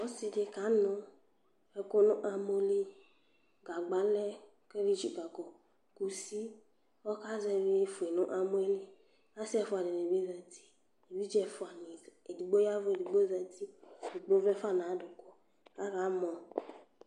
Ɔsɩ dɩ kanʋ ɛkʋ nʋ amɔ li, gagba lɛ kʋ ɛdɩ tsikǝkɔ, kusi kʋ ɔkazɛvɩ fue nʋ amɔ yɛ li Kʋ asɩ ɛfʋa dɩnɩ bɩ zati, evidze ɛfʋanɩ edigbo ya ɛvʋ edigbo zati kʋ edigbo vlɛ fa nʋ adʋkʋ kʋ akamɔ